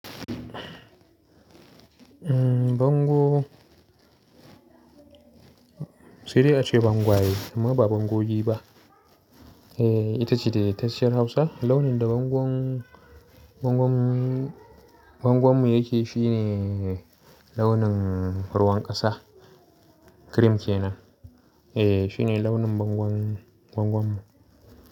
Bango sai dai ace bangwaye amma ba bangogi ba. Eh ita ce daidaitacciyar Hausa launin da bangon, bangon, bangon mu yake shi ne launin ruwan ƙasa. Cream ke nan. Eh shi ne launin bangon, bangon mu.